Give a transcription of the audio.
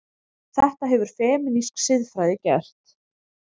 Þetta hefur femínísk siðfræði gert.